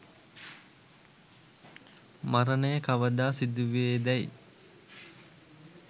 මරණය කවදා සිදුවේ දැයි